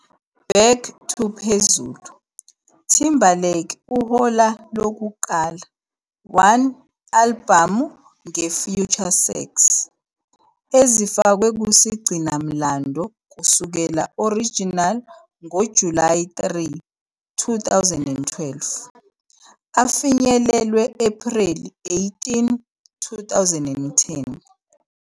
Back to phezulu "Timberlake uhola lokuqala 1 albhamu nge 'FutureSex' '. Ezifakwe kusigcinamlando kusukela original ngo-July 3, 2012 afinyelelwe April 18, 2010.